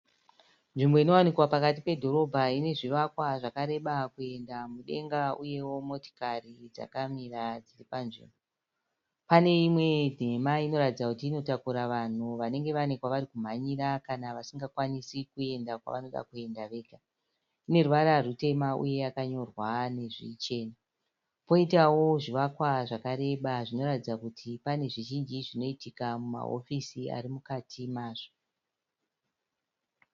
Nzvimbo inowanikwa pakati pedhorobha inezvivakakwa zvakareba kuenda mudenga uyewo motikari dzakamira dziri panzvimbo. Pane imwe nhema inoratidza kuti inotakura vanhu vanenge vane kwavarikumhanyira kana kwavasingakwanisi kuenda kwavanoda kuenda vega. Ineruvara rwutema uye yakanyorwa nezvichena . Poitawo zvivakwa zvakareba zvinoratidza kuti panezvizhinji zvinoitika mumahofisi arimukati mazvo.